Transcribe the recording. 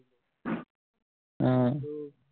আহ